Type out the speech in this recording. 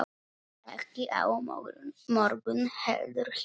Ekki á morgun heldur hinn.